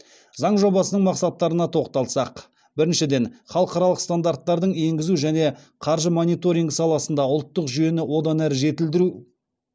заң жобасының мақсаттарына тоқталсақ біріншіден халықаралық стандарттардың енгізу және қаржы мониторингі саласында ұлттық жүйені одан әрі жетілдіру